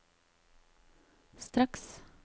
straks